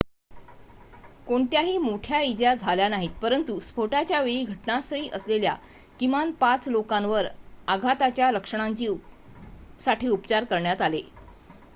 कोणत्याही मोठ्या इजा झाल्या नाहीत परंतु स्फोटाच्या वेळी घटनास्थळी असलेल्या किमान 5 लोकांवर आघाताच्या लक्षणांसाठी उपचार करण्यात आले